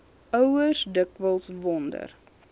ouers dikwels wonder